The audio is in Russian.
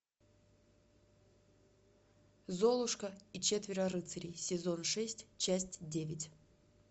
золушка и четверо рыцарей сезон шесть часть девять